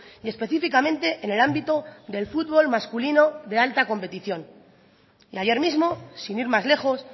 y específicamente en el ámbito del fútbol masculino de alta competición y ayer mismo sin ir más lejos